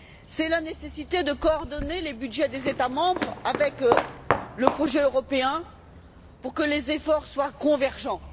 C'est la nécessité de coordonner les budgets des États membres avec le projet européen pour que les efforts soient convergents.